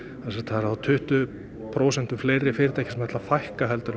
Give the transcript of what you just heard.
eru þá tuttugu prósentum fleiri fyrirtæki sem ætla að fækka en